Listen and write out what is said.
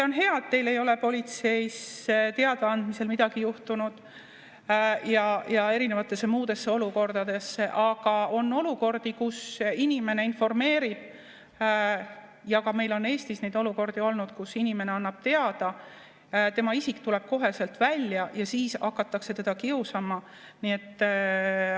On hea, et teil ei ole politseisse teada andmisel midagi juhtunud ja erinevates muudes olukordades, aga on olukordi, kus inimene informeerib – ka meil on Eestis neid olukordi olnud –, kus inimene annab teada, tema isik tuleb koheselt välja ja teda hakatakse kiusama.